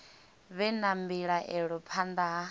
vhe na mbilaelo phanḓa ha